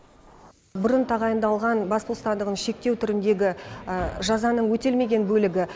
бұрын тағайындалған бас бостандығын шектеу түріндегі жазаның өтелмеген бөлігі